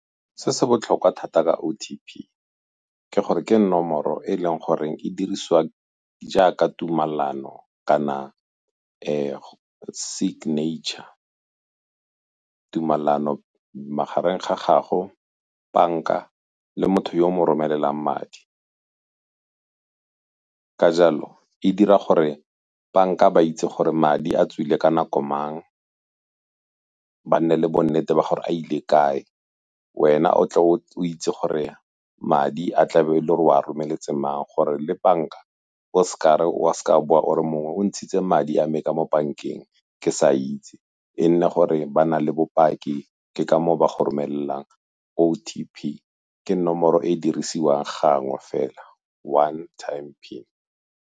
Se se botlhokwa thata ka O_T_P ke gore ke nomoro e e leng gore e diriswa jaaka tumalano kana signature, tumalano magareng ga gago, banka le motho yo o mo romelelang madi. Ka jalo e dira gore banka ba itse gore madi a tswile ka nako mang, ba nne le bonnete ba gore a ile kae, wena o tle o itse gore madi a tlabe e le gore o a romeletse mang gore le banka o seka wa boa ore mongwe o ntshitse madi a me ka mo bankeng ke sa itse, e nne gore ba na le bopaki ke ka moo ba go romelelang O_T_P ke nomoro e e dirisiwang gangwe fela One Time PIN.